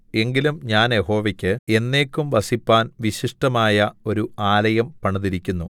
എങ്കിലും ഞാൻ യഹോവക്ക് എന്നേക്കും വസിപ്പാൻ വിശിഷ്ടമായ ഒരു ആലയം പണിതിരിക്കുന്നു